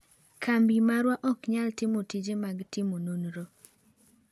Kambi marwa ok nyal timo tije mag timo nonro."